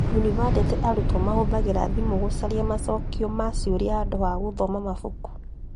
Yunibathĩtĩ arutwo matũmagĩra thimũ gũcaria macokio ma ciũria handũ ha gũthoma mabuku